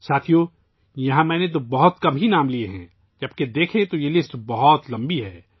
ساتھیو ، میں نے یہاں صرف چند نام بتائے ہیں، جب کہ اگر آپ دیکھیں تو یہ فہرست بہت لمبی ہے